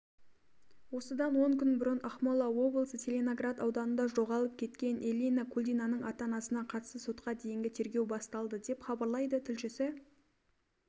осыдан он күн бұрын ақмола облысы целиноград ауданында жоғалып кеткен эллина кульдинаның ата-анасына қатысты сотқа дейінгі тергеу басталды деп хабарлайды тілшісі